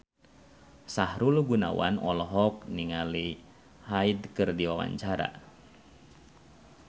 Sahrul Gunawan olohok ningali Hyde keur diwawancara